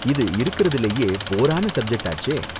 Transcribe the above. இது இருக்குறதிலேயே போரான சப்ஜெட் ஆச்சே.